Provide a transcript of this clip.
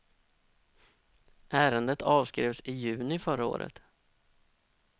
Ärendet avskrevs i juni förra året.